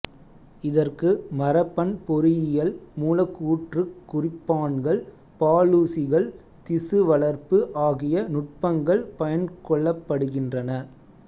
இதற்கு மரபன் பொறியியல் மூலக்கூற்றுக் குறிப்பான்கள் பாலூசிகள் திசு வளர்ப்பு ஆகிய நுட்பங்கள் பயன்கொள்ளப்படுகின்றன